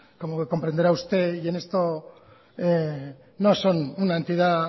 como comprenderá usted y en esto no son una entidad